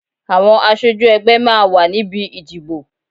Àwọn aṣojú ẹgbẹ́ máa wà níbi ìdìbò.